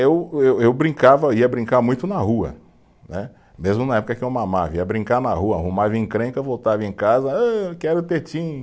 Eu, eu, eu brincava, ia brincar muito na rua né, mesmo na época que eu mamava, ia brincar na rua, arrumava encrenca, voltava em casa, âh, eu quero tetinha